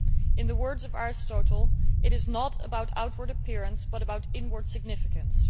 In the words of Aristotle, it is not about outward appearance but about inward significance.